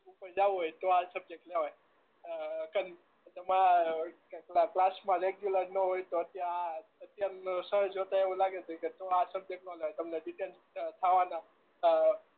માં જવું હોય તો આ સબ્જેક્ટ લેવાય અ તમાર ક્લાસ માં રેગ્યુલર ના હોય તો ત્યાં જોતા એવું આવું લાગે તો કે આ સબ્જેક્ટ ના લેવાય તમને થાવાના